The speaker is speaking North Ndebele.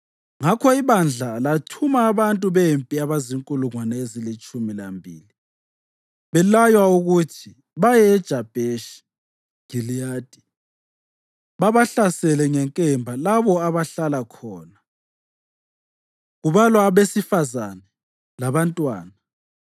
Ngakho ibandla lathuma abantu bempi abazinkulungwane ezilitshumi lambili belaywa ukuthi baye eJabheshi Giliyadi babahlasele ngenkemba labo abahlala khona, kubalwa abesifazane labantwana.